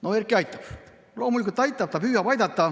No Erki aitabki, loomulikult aitab, ta püüab aidata.